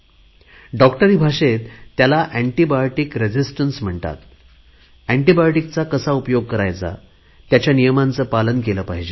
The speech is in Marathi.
डॉक्टरी भाषेत त्याला एन्टीबायोटिक रेझिस्टन्स म्हणतात एन्टीबायोटिकचा कसा उपयोग करायचा त्याच्या नियमांचे पालन केले पाहिजे